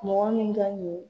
Mɔgɔ min ka ɲi